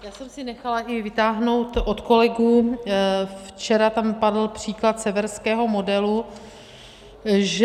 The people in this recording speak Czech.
Já jsem si nechala i vytáhnout od kolegů, včera tam padl příklad severského modelu, že...